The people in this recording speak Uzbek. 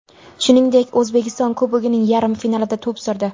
Shuningdek, O‘zbekiston Kubogining yarim finalida to‘p surdi.